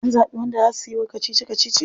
An zabi wanda za suyi kacici kacici?